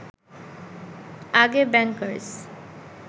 আগে ব্যাংকার্স